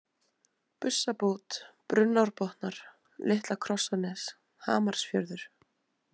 Bussabót, Brunnárbotnar, Litla-Krossanes, Hamarsfjörður